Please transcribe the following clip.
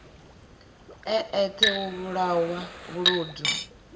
e eṱhe u vhulawanga vhuludu